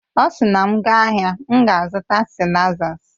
Ọ sị na m gaa ahịa, m ga-azụta sịlaizas